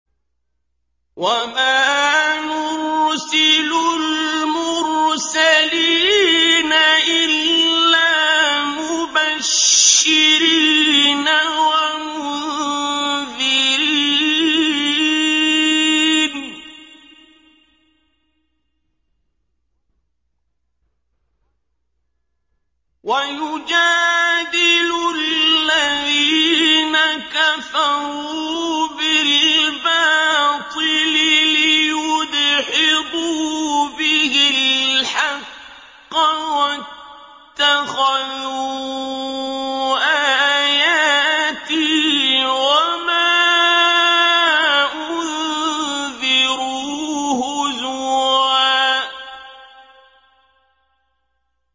وَمَا نُرْسِلُ الْمُرْسَلِينَ إِلَّا مُبَشِّرِينَ وَمُنذِرِينَ ۚ وَيُجَادِلُ الَّذِينَ كَفَرُوا بِالْبَاطِلِ لِيُدْحِضُوا بِهِ الْحَقَّ ۖ وَاتَّخَذُوا آيَاتِي وَمَا أُنذِرُوا هُزُوًا